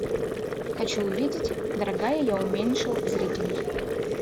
хочу увидеть дорогая я уменьшил зрителей